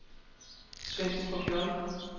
Svenstrup J